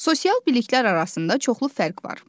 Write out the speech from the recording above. Sosial biliklər arasında çoxlu fərq var.